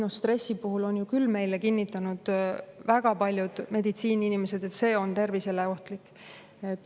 Ja stressi kohta on küll kinnitanud väga paljud meditsiiniinimesed, et see on tervisele ohtlik.